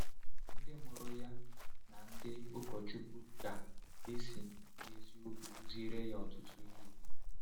Ndị mụrụ ya na ndị ụkọchukwu ga-esi n’eziokwu kụziere ya ọtụtụ ihe.